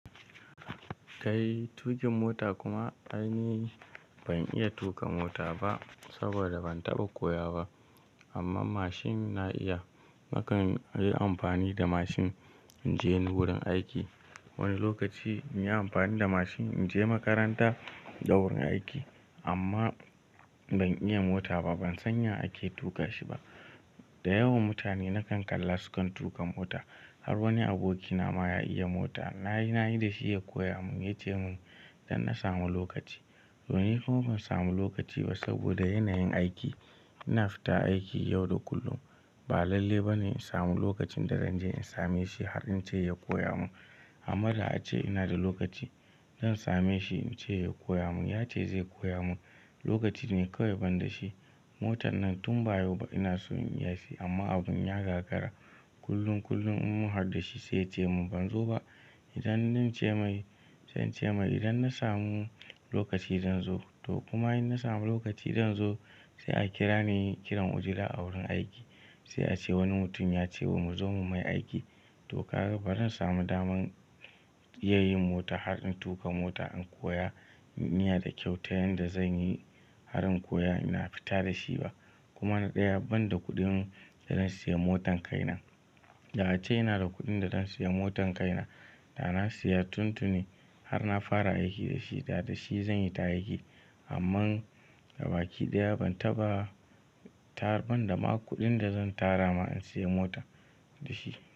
Kai tuƙin mota kuma aini, ban iya tuƙa mota ba saboda ban taɓa koya ba. Amma mashin na iya. Nakan yi amfani da mashin in je ni wurin aiki. Wani lokaci in yi amfani da mashin in je makaranta da wurin aiki. Amma ban iya mota ba, ban san ya ake tuƙa shi ba. Da yawan mutane nakan kalla su kan tuƙa mota. Har wani abokina ma ya iya mota. Na yi, na yi da shi ya koya mun. Ya ce mun idan na samu lokaci. To, ni kuma ban samu lokaci ba saboda yanayin aiki. Ina fita aiki yau da kullum. Ba lalle ba ne in samu lokacin da zan je in same shi har in ce ya koya mun. Amma da a ce ina da lokaci, dan same shi in ce ya koya mun. Ya ce zai koya mun. Lokaci ne kawai ban da shi. Motan nan tun ba yauba ina so in iya shi amma abun ya gagara. Kullun, kullun in mu harɗu da shi sai ya ce mun ban zo ba. Idan nince mai, sai ince mai idan na samu lokaci dan zo. To kuma in na samu lokaci zan zo. Sai a kira ni kiran ojila a wurin aiki. Sai a ce wani mutum ya ce mu zo mu mai aiki. To ka ga ba ran samu daman iya yin mota har in tuƙa mota in koya. Miya da kyau ta yanda zan yi har in koya ina fita da shi ba. Kuma na ɗaya banda kuɗin da zan siya motan kai nan. Da a ce ina da kuɗin da dan siya motan kai na, da na siya tuntuni har na fara aiki da shi, da da shi zan yi ta aiki. Amman gaba ki ɗaya ban taɓa tafun da ma kuɗin da zan tara ma in siya mota da shi.